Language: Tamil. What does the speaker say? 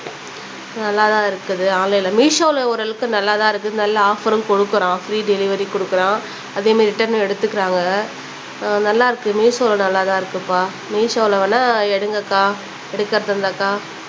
நல்லா தான் இருக்குது ஆன்லைன்ல மீஷோல ஓரளவுக்கு நல்லா தான் இருக்குது நல்ல ஆஃப்பர்ரும் குடுக்குறான் ஃப்ரீ டெலிவரி குடுக்குறான் அதே மாதிரி ரிட்டன்னும் எடுத்துக்குறாங்க நல்லா இருக்கு மீஷோல நல்லா தான் இருக்குப்பா மீஷோல வேணா எடுங்கக்கா எடுக்குறதா இருந்தாக்கா